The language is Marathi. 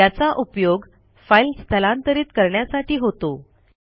याचा उपयोग फाईल स्थलांतरित करण्यासाठी होतो